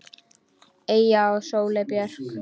Eyja og Sóley Björk.